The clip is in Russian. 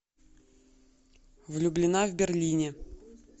влюблена в берлине